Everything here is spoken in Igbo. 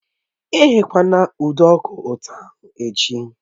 Ghe nduku ụtọ ahụ echi!